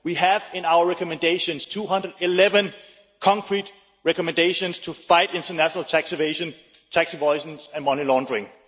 We have in our recommendations 211 concrete recommendations to fight international tax evasion, tax avoidance and money laundering.